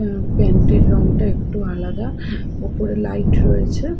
আর pant -এর রঙটা একটু আলাদা ওপরে লাইট রয়েছে।